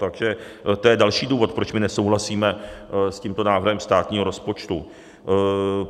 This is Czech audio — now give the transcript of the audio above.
Takže to je další důvod, proč my nesouhlasíme s tímto návrhem státního rozpočtu.